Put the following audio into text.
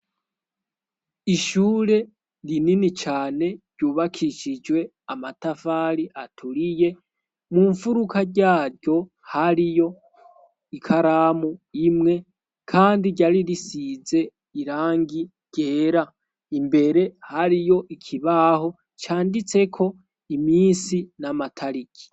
ishure rinini cane ryubakishijwe amatafari aturiye mu mfuruka ryaryo hariyo ikaramu imwe kandi ryari risize irangi ryera imbere hariyo ikibaho canditseko iminsi n'amatariki